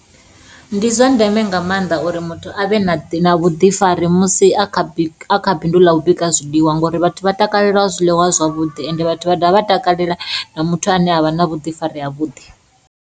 Ndi zwa ndeme nga maanḓa uri muthu avhe na vhuḓifari musi a kha bindu ḽa u bika zwiḽiwa ngori vhathu vha takalela zwiḽiwa zwavhuḓi ende vhathu vha dovha vha takalela na muthu ane avha na vhuḓifari ha vhuḓi.